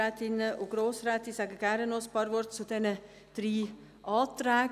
Ich sage gerne einige Worte zu den drei Anträgen.